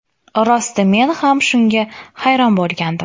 Rosti men ham shunga hayron bo‘lgandim.